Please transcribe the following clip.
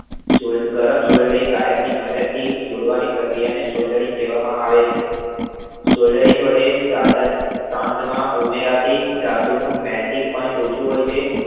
ગરમ Soldering આયર્નની મદદથી જોડવાની પ્રક્રિયાને Solder વડે સંતમાં ઉમેરાતી ધાતુ નું melting point ઓછું હોય છે